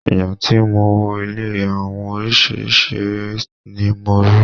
Ìgbà tí mo wọ ilé awo orísìírísìí ère ni mo rí.